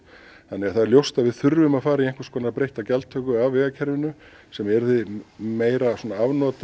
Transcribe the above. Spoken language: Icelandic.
það er ljóst að við þurfum að fara í einhvers konar breytta gjaldtöku af vegakerfinu sem yrði meira